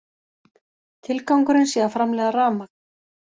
Tilgangurinn sé að framleiða rafmagn